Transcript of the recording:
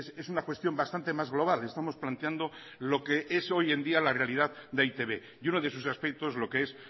es una cuestión bastante más global estamos planteando lo que es hoy en día la realidad de e i te be y uno de sus aspectos lo que es